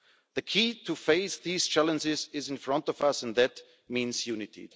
The key to face these challenges is in front of us, and that means unity.